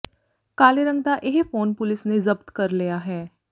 ਕਾਲੇ ਰੰਗ ਦਾ ਇਹ ਫੋਨ ਪੁਲੀਸ ਨੇ ਜ਼ਬਤ ਕਰ ਲਿਆ ਹੈ